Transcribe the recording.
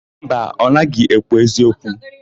Mba, ọ naghị ekwu eziokwu.